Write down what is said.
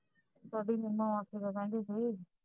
ਤੁਹਾਡੀ ਮਾਸੀ ਕੀ ਕਹਿੰਦੀ ਸੀ